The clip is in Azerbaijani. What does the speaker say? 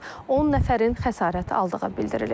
10 nəfərin xəsarət aldığı bildirilir.